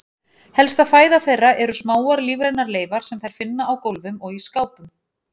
Helsta fæða þeirra eru smáar lífrænar leifar sem þær finna á gólfum og í skápum.